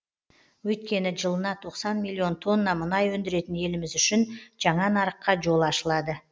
өйткені жылына тоқсан миллион тонна мұнай өндіретін еліміз үшін жаңа нарыққа жол ашылады